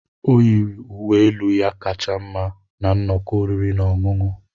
O yiri uwe elu ya kacha mma na nnọkọ oriri na ọṅụṅụ.